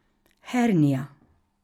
Hernija.